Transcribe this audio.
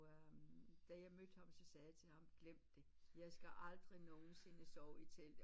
Og øhm da jeg mødte ham så sagde jeg til ham glem det jeg skal aldrig nogensinde sove i telt